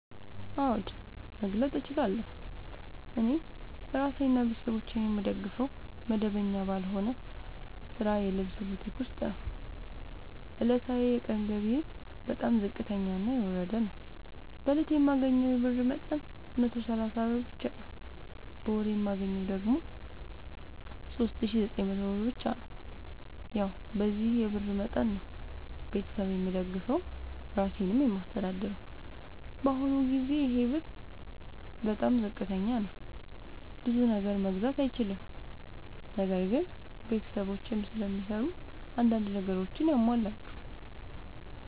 አዎድ መግለጥ እችላለሁ። እኔ እራሴንና ቤተሠቦቼን የምደግፈዉ መደበኛ ባልሆነ ስራ የልብስ ቡቲክ ዉስጥ ነዉ። ዕለታዊ የቀን ገቢየ በጣም ዝቅተኛና የወረደ ነዉ። በእለት የማገኘዉ የብር መጠን 130 ብር ብቻ ነዉ። በወር የማገኘዉ ደግሞ 3900 ብር ብቻ ነዉ። ያዉ በዚህ የብር መጠን መጠን ነዉ። ቤተሠብ የምደግፈዉ እራሴንም የማስተዳድረዉ በአሁኑ ጊዜ ይሄ ብር በጣም ዝቅተኛ ነዉ። ብዙ ነገር መግዛት አይችልም። ነገር ግን ቤተሰቦቼም ስለሚሰሩ አንዳንድ ነገሮችን ያሟላሉ።